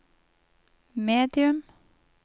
medium